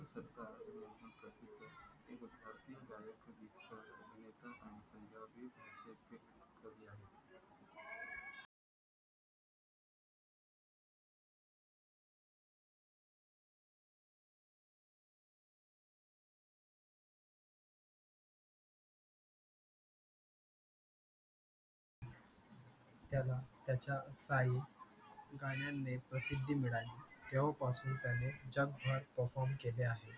त्याला त्याच्या काही गाण्याने प्रसिद्ध मिळाली तेव्हापासून त्यांनी जगभर perform केले आहे